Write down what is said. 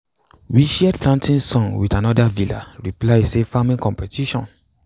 we shared planting songs wit anoda vila reply say farming competition.